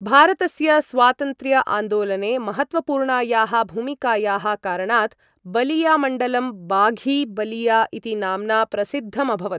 भारतस्य स्वातन्त्र्य आन्दोलने महत्त्वपूर्णायाः भूमिकायाः कारणात् बलियामण्डलं बाघी बलिया इति नाम्ना प्रसिद्धमभवत्।